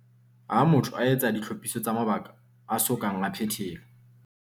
Ha motho a etsa ditlhophiso tsa mabaka a so kang a phethelwa.